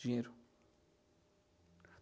Dinheiro.